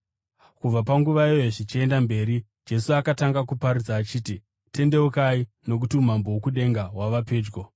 Kubva panguva iyoyo zvichienda mberi, Jesu akatanga kuparidza achiti, “Tendeukai nokuti umambo hwokudenga hwava pedyo.”